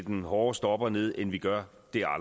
en hårdere stopper ned end vi gør det